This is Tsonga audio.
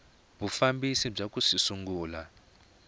vufambisi bya ku swi sungula